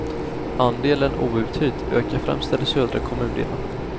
Andelen outhyrt ökar främst i de södra kommundelarna.